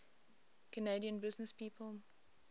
canadian businesspeople